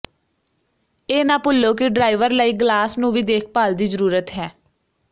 ਇਹ ਨਾ ਭੁੱਲੋ ਕਿ ਡਰਾਈਵਰ ਲਈ ਗਲਾਸ ਨੂੰ ਵੀ ਦੇਖਭਾਲ ਦੀ ਜ਼ਰੂਰਤ ਹੈ